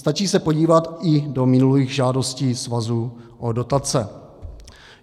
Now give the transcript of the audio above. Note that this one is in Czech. Stačí se podívat i do minulých žádostí svazu o dotace.